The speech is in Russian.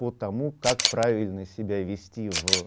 по тому как правильно себя вести в